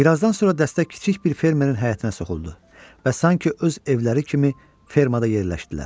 Birazdan sonra dəstə kiçik bir fermerin həyətinə soxuldu və sanki öz evləri kimi fermada yerləşdilər.